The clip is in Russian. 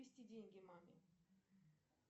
перевести деньги маме